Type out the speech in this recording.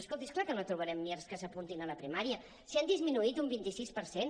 escolti és clar que no trobarem mirs que s’apuntin a la primària si han disminuït un vint sis per cent